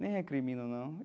Nem recrimino, não.